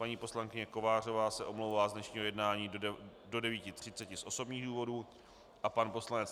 Paní poslankyně Kovářová se omlouvá z dnešního jednání do 9.30 z osobních důvodů a pan poslanec